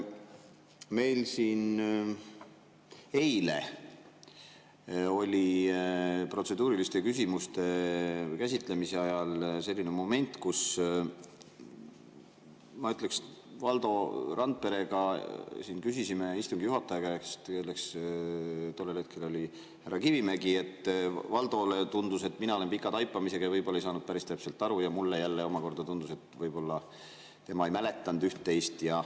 Meil siin eile oli protseduuriliste küsimuste käsitlemise ajal selline moment, et kui me Valdo Randperega küsisime istungi juhataja käest, kelleks tollel hetkel oli härra Kivimägi, siis Valdole tundus, et mina olen pika taipamisega ja võib-olla ei saanud päris täpselt aru, ning mulle jälle omakorda tundus, et võib-olla tema ei mäletanud üht-teist.